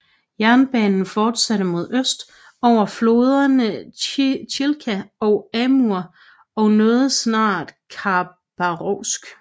Jernbanen fortsatte mod øst over floderne Chilka og Amur og nåede snart Khabarovsk